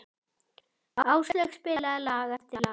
Áslaug spilaði lag eftir lag.